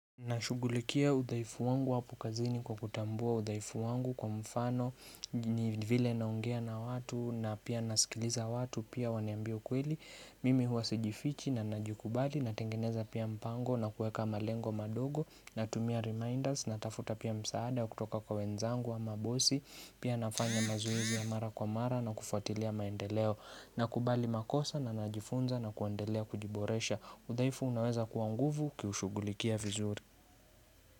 Nashugulikia udhaifu wangu hapo kazini kwa kutambua udhaifu wangu kwa mfano ni vile naongea na watu na pia nasikiliza watu pia wananiambia ukweli Mimi huwa sijifichi na najikubali na tengeneza pia mpango na kuweka malengo madogo na tumia reminders na tafuta pia msaada kutoka kwa wenzangu ama bosi Pia nafanya mazoezi ya mara kwa mara na kufuatilia maendeleo na kubali makosa na najifunza na kuendelea kujiboresha udhaifu unaweza kua nguvu ukiushugulikia vizuri.